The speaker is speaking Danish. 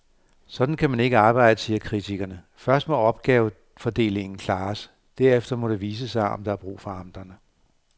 Sådan kan man ikke arbejde, siger kritikerne, først må opgavefordelingen klares, derefter må det vise sig, om der er brug for amterne.